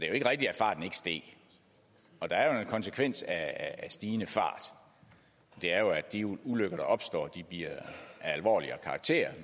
jo ikke rigtigt at farten ikke steg der er jo en konsekvens af stigende fart og det er at de ulykker der opstår bliver af alvorligere karakter